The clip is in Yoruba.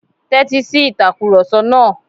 Tẹ́ti si ìtakurọ̀sọ náà.